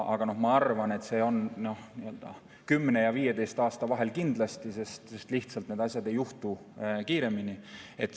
Ma arvan, et see on kindlasti 10 ja 15 aasta vahel, sest lihtsalt need asjad ei juhtu kiiremini.